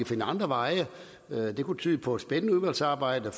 finde andre veje kunne tyde på et spændende udvalgsarbejde